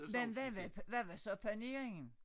Men hvad var hvad var så paneringen?